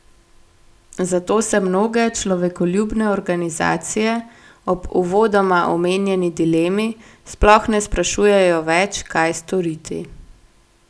Zato se mnoge človekoljubne organizacije ob uvodoma omenjeni dilemi sploh ne sprašujejo več, kaj storiti.